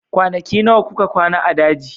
Kwanaki nawa kuka kwana a daji?